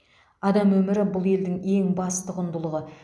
адам өмірі бұл елдің ең басты құндылығы